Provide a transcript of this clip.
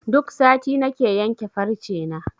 Duk sati nake yanke farce na.